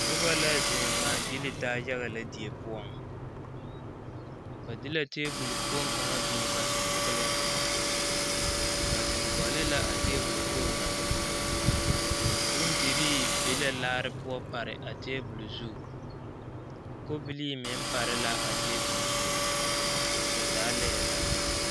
Noba la zeŋ ŋmaa gyili taa yaga lɛ die poɔŋ ba de la tebol kpoŋ kaŋa biŋ ba sensɔŋleŋ ba zeŋ gɔle la a tebol kpoŋ na bondirii be la laare poɔ pare a tebol zu kobilii meŋ pare la a tebol zu ba zaa laɛ la.